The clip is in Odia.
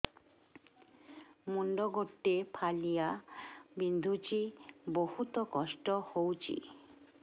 ମୁଣ୍ଡ ଗୋଟେ ଫାଳିଆ ବିନ୍ଧୁଚି ବହୁତ କଷ୍ଟ ହଉଚି